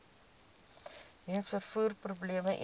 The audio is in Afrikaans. weens vervoerprobleme eenvoudig